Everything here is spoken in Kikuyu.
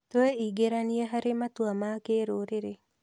Twĩingĩranie harĩ matua ma kĩrũrĩrĩ.